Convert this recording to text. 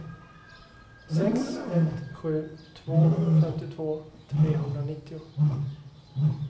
sex ett sju två femtiotvå trehundranittio